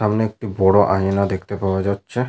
সামনে একটি বড় আয়না দেখতে পাওয়া যাচ্ছে।